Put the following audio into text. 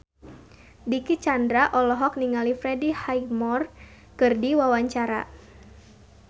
Dicky Chandra olohok ningali Freddie Highmore keur diwawancara